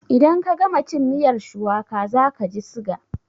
In ka gama cin miyar shuwaka za kaji siga